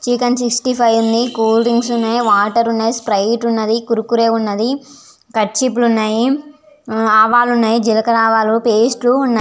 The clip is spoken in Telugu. చికెన్ సిక్స్టీ ఫైవ్ ఉంది కూల్ డ్రింక్స్ ఉన్నాయి వాటర్ ఉన్నాయి స్ప్రైట్ ఉన్నది కురుకురే ఉన్నది కర్చీఫ్ లు ఉన్నాయి ఆవాలు ఉన్నాయి జిలకర ఆవాలు పేస్ట్ లు ఉన్నాయి.